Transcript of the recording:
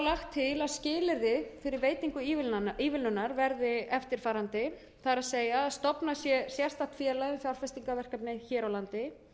lagt til að skilyrði fyrir veitingu ívilnunar verði eftirfarandi það er að stofnað sé sérstakt félag um fjárfestingarverkefni hér á landi